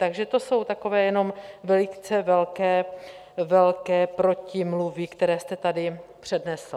Takže to jsou takové jenom velice velké protimluvy, které jste tady přednesl.